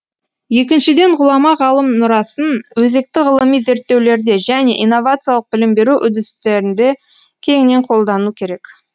екіншіден ғұлама ғалым мұрасын өзекті ғылыми зерттеулерде және инновациялық білім беру үдерістерінде кеңінен қолдану керек